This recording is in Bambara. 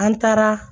An taara